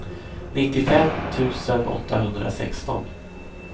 nittiofem tusen åttahundrasexton